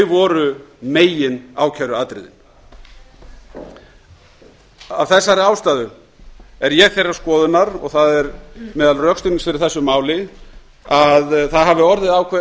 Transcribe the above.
voru meginákæruatriðin af þessari ástæðu er ég þeirrar skoðunar og það er meðal rökstuðnings fyrir þessu máli að það hafi orðið ákveðinn